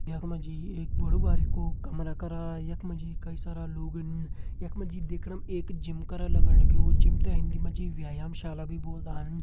यख मा जी एक बड़ु बारिकु कमरा करा यख मा कई सारा लोगन यख मा जी देखण में एक जिम करा लगण लग्युं जिम ते हिंदी मा जी व्यायाम शाला भी बोल्दन।